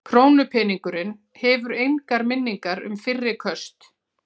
Krónupeningurinn hefur engar minningar um fyrri köst.